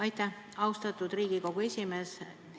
Aitäh, austatud Riigikogu esimees!